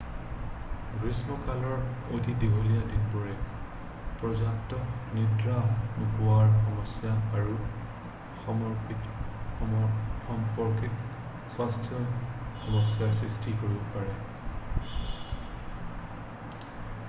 গ্ৰীষ্মকালৰ অতি দীঘলীয়া দিনবোৰে পৰ্য্যাপ্ত নিদ্ৰা নোপোৱাৰ সমস্যা আৰু সম্পৰ্কিত স্বাস্থ্য সমস্যাৰ সৃষ্টি কৰিব পাৰে